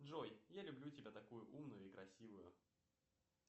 джой я люблю тебя такую умную и красивую